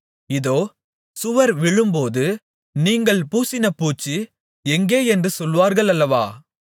இதோ சுவர் விழும்போது நீங்கள் பூசின பூச்சு எங்கே என்று சொல்வார்கள் அல்லவா